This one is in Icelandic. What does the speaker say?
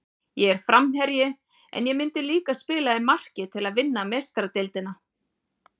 Ég er framherji, en ég myndi líka spila í marki til að vinna Meistaradeildina.